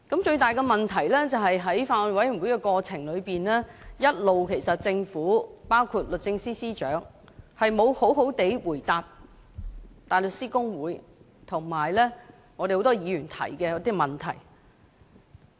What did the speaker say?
最大的問題是，在法案委員會審議的過程當中，政府，包括律政司司長，一直也沒有好好地回答大律師公會和很多議員提出的問題。